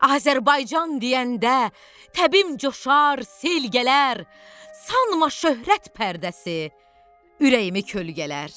Azərbaycan deyəndə təbim coşar, sel gələr, sanma şöhrət pərdəsi ürəyimi kölgələr.